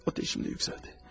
Atəşim də yüksəldi.